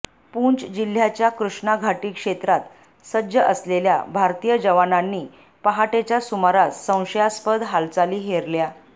पूँच जिल्ह्याच्या कृष्णा घाटी क्षेत्रात सज्ज असलेल्या भारतीय जवानांनी पहाटेच्या सुमारास संशयास्पद हालचाली हेरल्या